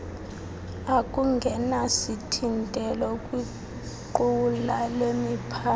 okungenasithintelo kwiqula lemiphantsi